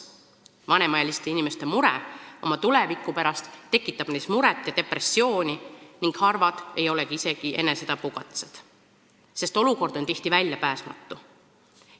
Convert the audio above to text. Vanemaealiste inimeste mure oma tuleviku pärast tekitab neis stressi ja depressiooni, harvad ei ole isegi enesetapukatsed, sest olukord on tihti väljapääsmatu.